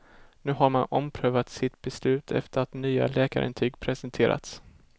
Nu har man omprövat sitt beslut efter att nya läkarintyg presenterats.